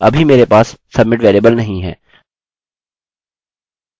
अभी मेरे पास submit वेरिएबल नहीं है